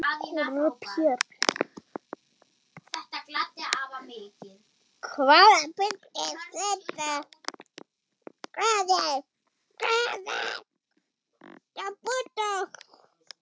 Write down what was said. Hvaða bull er þetta?